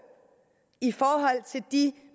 i forhold til de